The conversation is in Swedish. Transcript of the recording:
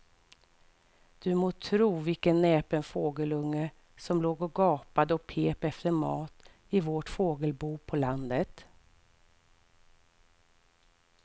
Du må tro vilken näpen fågelunge som låg och gapade och pep efter mat i vårt fågelbo på landet.